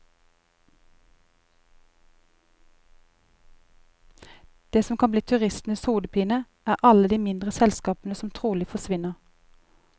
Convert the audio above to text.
Det som kan bli turistenes hodepine, er alle de mindre selskapene som trolig forsvinner.